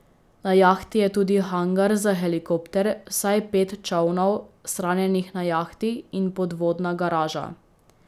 Na jahti je tudi hangar za helikopter, vsaj pet čolnov, shranjenih na jahti, in podvodna garaža.